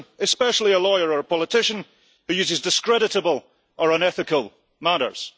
person, especially a lawyer or politician, who uses discreditable or unethical methods.'